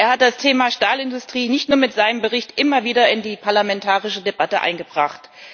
Er hat das Thema Stahlindustrie nicht nur mit seinem Bericht immer wieder in die parlamentarische Debatte eingebracht.